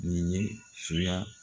Nin ye soya